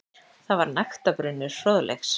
Þar var nægtabrunnur fróðleiks.